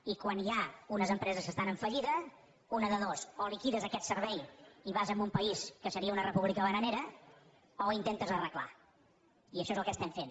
i quan hi ha unes empreses que estan en fallida una de dues o liquides aquest servei i vas a un país que seria una república bananera o ho intentes arreglar i això és el que estem fent